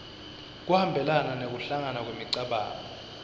kuhambelana nekuhlangana kwemicabango